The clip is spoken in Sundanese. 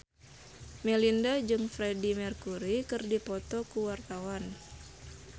Melinda jeung Freedie Mercury keur dipoto ku wartawan